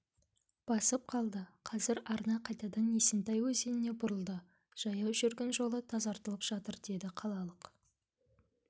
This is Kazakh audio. басып қалды қазір арна қайтадан есентай өзеніне бұрылды жаяу жүргін жолы тазартылып жатыр деді қалалық